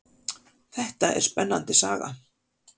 Þetta er spennandi saga.